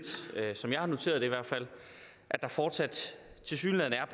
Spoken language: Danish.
som jeg har noteret det i hvert fald at der fortsat tilsyneladende er